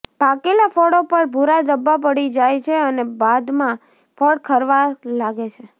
પાકેલા ફળો પર ભૂરા ધબ્બા પડી જાય છે અને બાદમાં ફળ ખરવા લાગે છે